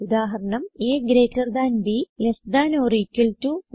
ഉദാഹരണം160 AGTB less than or equal to